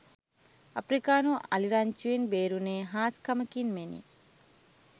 අප්‍රිකානු අලි රංචුවෙන් බේරුනේ හාස්කමකින් මෙනි